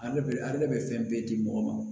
Ale bɛ ale bɛ fɛn bɛɛ di mɔgɔ ma